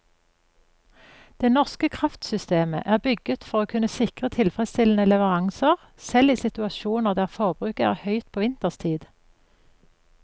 Det norske kraftsystemet er bygget for å kunne sikre tilfredsstillende leveranser selv i situasjoner der forbruket er høyt på vinterstid.